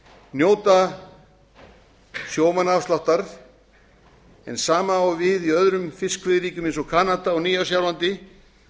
njóta sjómannaafsláttar hið sama á við í öðrum fiskveiðiríkjum eins og kanada og nýja sjálandi